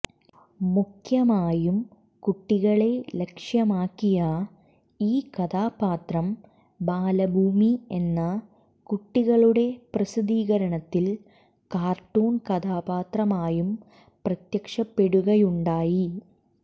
മുഖ്യമായും കുട്ടികളെ ലക്ഷ്യമാക്കിയ ഈ കഥാപാത്രം ബാലഭൂമി എന്ന കുട്ടികളുടെ പ്രസിദ്ധീകരണത്തിൽ കാർട്ടൂൺ കഥാപാത്രമായും പ്രത്യക്ഷപ്പെടുകയുണ്ടായി